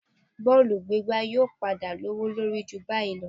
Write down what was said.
Bọ́ọ̀lù gbígbá yóò padà lówó lórí ju báyìí lọ